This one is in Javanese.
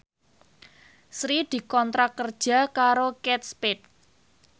Sri dikontrak kerja karo Kate Spade